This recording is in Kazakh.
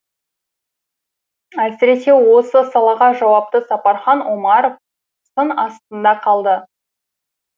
әсіресе осы салаға жауапты сапархан омаров сын астында қалды